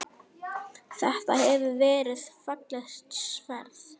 Þetta hefur verið fallegt sverð?